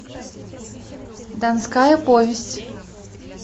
донская повесть